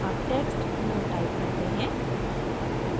अब text no type करते हैं